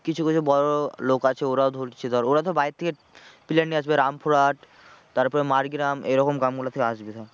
কিছু কিছু বড়ো বড়ো লোক আছে ওরা ধরছে ধর ওরা তো বাইরে থেকে player নিয়ে আসবে রামপুরহাট তারপরে মারগ্রাম এরকম গ্রাম গুলো থেকে আসবে ধর